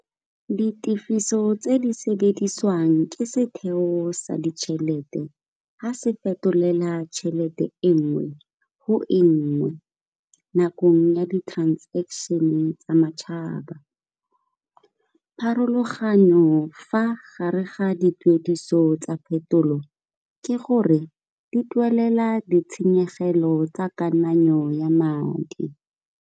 Ditifiso tse di sebedisiwang ke setheo sa ditšhelete ga se fetolela tšhelete e nngwe go e nngwe nakong ya di-transaction-e tsa matšhaba. Pharologanyo fa gare ga dituediso tsa phetolo ke gore di duela ditshenyegelo tsa kananyo ya madi.